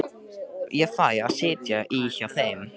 Ég fæ að sitja í hjá þeim.